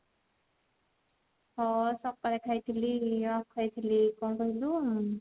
ହଁ ସକାଳେ ଖାଇଥିଲି ଆଉ ଖାଇଥିଲି କଣ କହିଲୁ ଉଁ